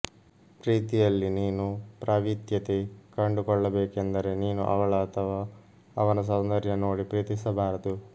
ಪ್ರೀತಿಯಲ್ಲಿ ನೀನು ಪ್ರಾವೀತ್ಯತೆ ಕಂಡು ಕೊಳ್ಳಬೇಕೆಂದರೆ ನೀನು ಅವಳ ಅಥವಾ ಅವನ ಸೌಂದರ್ಯ ನೋಡಿ ಪ್ರೀತಿಸಬಾರದು